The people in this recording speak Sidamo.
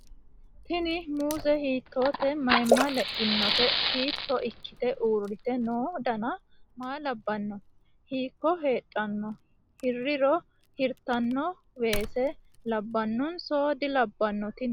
Tini muuze hiitoote mayma leinote hiitto ikkite uurrite no dana maa labbanno ? Hiikko hedhanno hiriro hirtanno weese labbanonso dilabbanno tini